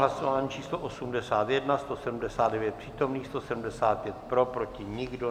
Hlasování číslo 81, 179 přítomných, 175 pro, proti nikdo.